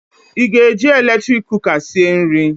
Ị ga-eji eletrik kụka sịe nri?